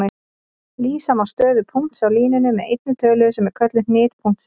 Lýsa má stöðu punkts á línunni með einni tölu sem er kölluð hnit punktsins.